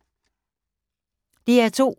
DR2